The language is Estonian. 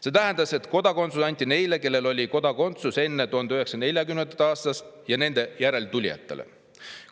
See tähendas, et kodakondsus anti neile, kellel oli kodakondsus enne 1940. aastat, ja nende järeltulijatele.